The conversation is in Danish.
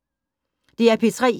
DR P3